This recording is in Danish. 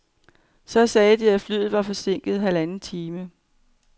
Så sagde de, at flyet var forsinket halvanden time.